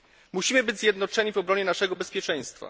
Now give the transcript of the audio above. Musimy być zjednoczeni w obronie naszego bezpieczeństwa.